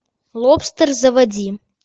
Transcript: лобстер заводи